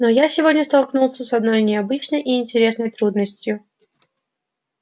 но я сегодня столкнулся с одной необычной и интересной трудностью